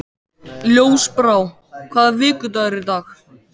Ljósbrá, hvaða vikudagur er í dag?